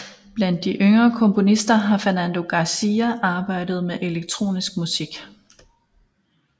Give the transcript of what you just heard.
Blandt de yngre komponister har Fernando García arbejdet med elektronisk musik